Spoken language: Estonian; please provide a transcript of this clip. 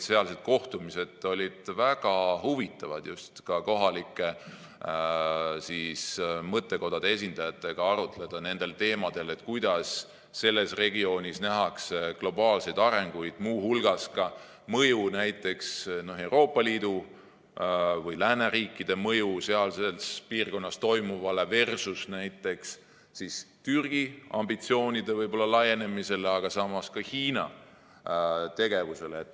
Sealsed kohtumised olid väga huvitavad, sai ka kohalike mõttekodade esindajatega arutleda nendel teemadel, kuidas selles regioonis nähakse globaalseid arenguid, muu hulgas näiteks Euroopa Liidu või lääneriikide mõju sealses piirkonnas toimuvale versus näiteks Türgi ambitsioonide laienemine, aga samas ka Hiina tegevus.